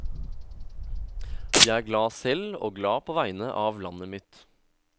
Jeg er glad selv og glad på vegne av landet mitt.